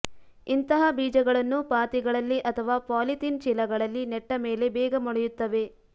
ಇಂತಹ ಬೀಜಗಳನ್ನು ಪಾತಿಗಳಲ್ಲಿ ಅಥವಾ ಪಾಲಿಥೀನ್ ಚೀಲಗಳಲ್ಲಿ ನೆಟ್ಟ ಮೇಲೆ ಬೇಗ ಮೊಳೆಯುತ್ತವೆ